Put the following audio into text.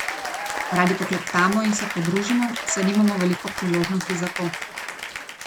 Radi poklepetamo in se podružimo, saj nimamo veliko priložnosti za to.